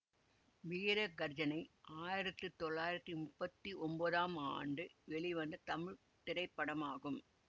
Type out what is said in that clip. வீர கர்ஜனை ஆயிரத்தி தொள்ளாயிரத்தி முப்பத்தி ஒம்போதாம் ஆண்டு வெளிவந்த தமிழ் திரைப்படமாகும்